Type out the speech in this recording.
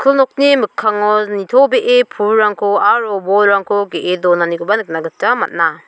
nokni mikkango nitobee pulrangko aro bolrangko ge·e donanikoba nikna gita man·a.